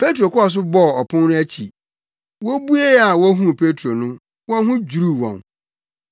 Petro kɔɔ so bɔɔ ɔpon no akyi. Wobuee a wohuu Petro no, wɔn ho dwiriw wɔn.